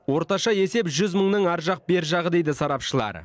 орташа есеп жүз мыңның ар жақ бер жағы дейді сарапшылар